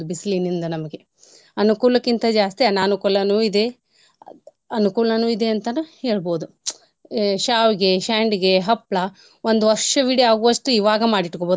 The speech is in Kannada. ಬಿಸಿಲಿನಿಂದ ನಮ್ಗೆ ಅನುಕೂಲಕಿಂತ ಜಾಸ್ತಿ ಅನಾನುಕೂಲಾನು ಇದೆ ಅನುಕೂಲನೂ ಇದೆ ಅಂತಾನೂ ಹೇಳ್ಬೋದು. ಎ ಶ್ಯಾವ್ಗೆ, ಶ್ಯಂಡ್ಗೆ, ಹಪ್ಳ ಒಂದ್ ವರ್ಷವಿಡಿ ಆಗುವಷ್ಟು ಇವಾಗ ಮಾಡಿ ಇಟ್ಕೋಬೋದು.